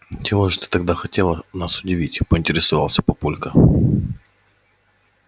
чем же тогда ты хотела нас удивить поинтересовался папулька